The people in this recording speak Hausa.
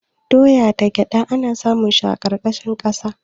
Doya da gyada ana samun su a ƙarƙashin ƙasa.